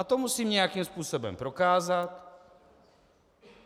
A to musím nějakým způsobem prokázat.